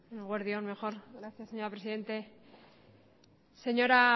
eguerdi on mejor gracias señora presidente señora